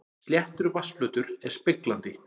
Sléttur vatnsflötur er speglandi.